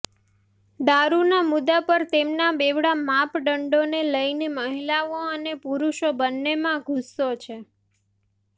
દારૂના મુદ્દા પર તેમના બેવડા માપદંડોને લઈને મહિલાઓ અને પુરુષો બન્નેમાં ગુસ્સો છે